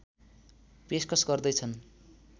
पेशकश गर्दै छन्